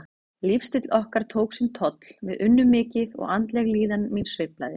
Lífsstíll okkar tók sinn toll, við unnum mikið og andleg líðan mín sveiflaðist.